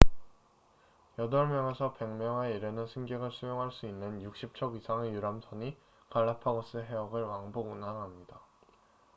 8명에서 100명에 이르는 승객을 수용할 수 있는 60척 이상의 유람선이 갈라파고스 해역을 왕복 운항합니다